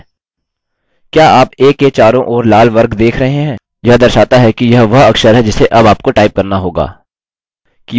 क्या आप a के चारों ओर लाल वर्ग देख रहे हैं यह दर्शाता है कि यह वह अक्षर है जिसे अब आपको टाइप करना होगा